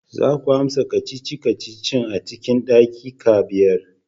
Za ku amsa kacici-kacicin a cikin daƙiƙa biyar!